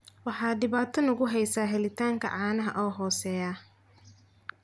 Waxa dhibaato nagu haysa helitaanka caanaha oo hooseeya.